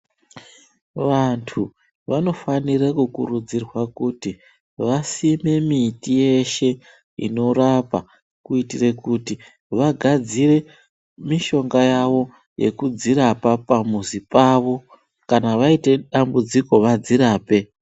Vantu vanofane kukurudzirwa kuti vasime miti yeshe inorapa, kuitire kuti vagadzire mishonga yavo, nekudzirapa pamuzi pavo. Kana vaite dambudziko, vadzirape.